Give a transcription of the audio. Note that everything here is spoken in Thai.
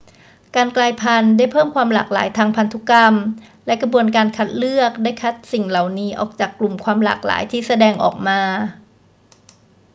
การกลายพันธุ์ได้เพิ่มความหลากหลายทางพันธุกรรม และกระบวนการการคัดเลือกได้คัดสิ่งเหล่านั้นออกจากกลุ่มความหลากหลายที่แสดงออกมา